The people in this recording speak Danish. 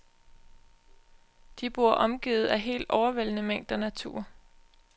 De bor omgivet af helt overvældende mængder natur.